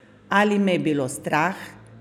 Ali me je bilo strah?